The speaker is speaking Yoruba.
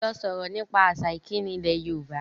Lọ sọ̀rọ̀ nípa àṣà ìkíni ilẹ̀ Yorùbá!